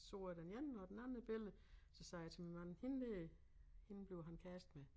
Så jeg den ene og den anden et billede så sagde jeg til min mand hende dér hende bliver han kærester med